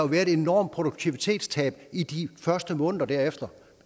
være et enormt produktivitetstab i de første måneder derefter